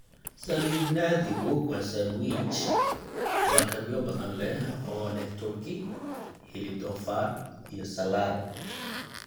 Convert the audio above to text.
Sandwij naadigu waa sandwich lakabyo badan leh oo leh turki, hilib doofaar, iyo salaar.